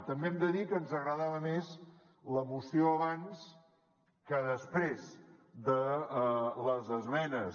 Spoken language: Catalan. també hem de dir que ens agradava més la moció abans que després de les esmenes